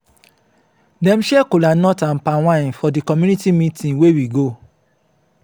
dem share cola nut and palm wine for di community meeting wey we go.